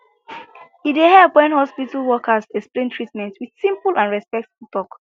e dey help when hospital workers explain treatment with simple and respectful talk